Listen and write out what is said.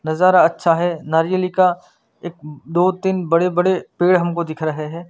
नजारा अच्छा है नायरिली का एक दो तिन बड़े बड़े पेड़ हमको दिख रहे हैं।